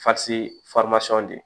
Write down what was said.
de